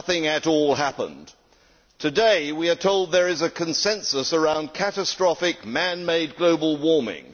Nothing at all happened. Today we are told there is a consensus around catastrophic man made global warming.